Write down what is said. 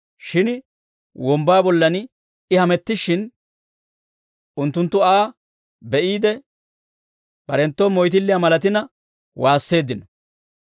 Shin wombbaa bollan I hamettishshin, unttunttu Aa be'iide, barenttoo moyttilliyaa malatina waasseeddino.